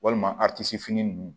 Walima fini ninnu